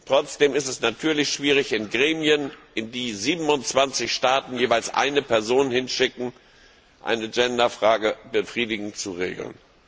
Trotzdem ist es natürlich schwierig, in Gremien, in die 27 Staaten jeweils eine Person hinschicken, eine Gender Frage befriedigend zu regeln.